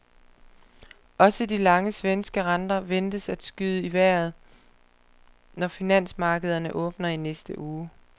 Også de lange svenske renter ventes at skyde i vejret, når finansmarkederne åbner i næste uge.